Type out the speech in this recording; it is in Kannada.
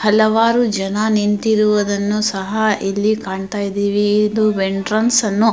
ಹಲವಾರು ಜನ ನಿಂತಿರುವುದನ್ನು ಸಹ ಇಲ್ಲಿ ಕಾಣ್ತಾ ಇದಿವಿ ಇದು ಎಂಟ್ರನ್ಸ್ ಅನ್ನು --